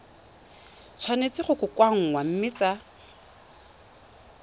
tshwanetse go kokoanngwa mme tsa